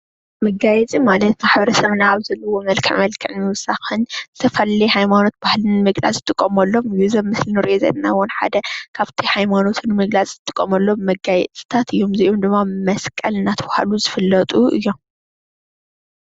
መጋየፂ ማለት ማሕበረሰብና ኣብ ዘለዎ መልክዕ መልክዕ ንምዉሳኽን ንዝተፈላለዩ ሃይማኖትን ባህልን ንምግላፅ ዝጥቀመሎም ወይ እዚ ንሪኦ ዘለና ,ዉን ሓደ ካብቲ ሃይማኖት ንምግላፅ ንጥቀመሎም መጋየፅታት እዮም። እዚኦም ድማ መስቀል እናተብሃሉ ዝፍለጡ እዮም።